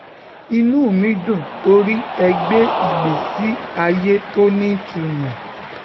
inú mi dùn torí ẹ gbé ìgbésí ayé tó nítumọ̀